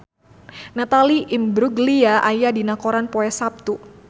Natalie Imbruglia aya dina koran poe Saptu